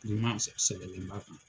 Bilenman sɛbɛlen b'a kan.